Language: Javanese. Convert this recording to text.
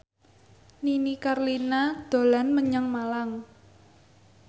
Nini Carlina dolan menyang Malang